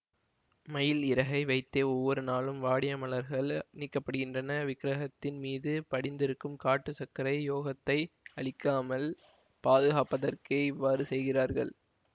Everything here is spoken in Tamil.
மயில் இறகை வைத்தே ஒவ்வொரு நாளும் வாடிய மலர்கள் நீக்கப்படுகின்றன விக்ரகத்தின் மீது படிந்திருக்கும் காட்டு சர்க்கரை யோகத்தை அழிக்காமல் பாதுகாப்பதற்கே இவ்வாறு செய்கிறார்கள்